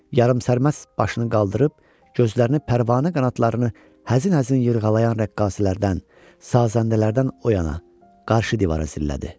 Yarımsərməst başını qaldırıb, gözlərini pərvanə qanadlarını həzin-həzin yırğalayan rəqqasələrdən, sazəndələrdən oyana qarşı divara zillədi.